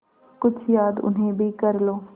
कुछ याद उन्हें भी कर लो